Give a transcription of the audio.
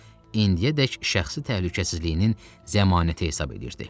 İndiyədək şəxsi təhlükəsizliyinin zəmanəti hesab edirdi.